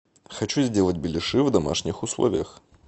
хочу сделать беляши в домашних условиях